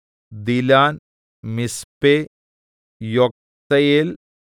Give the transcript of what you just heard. ദിലാൻ മിസ്പെ യൊക്തെയേൽ